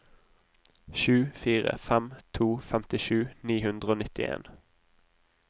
sju fire fem to femtisju ni hundre og nittien